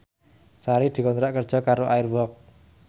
Sari dikontrak kerja karo Air Walk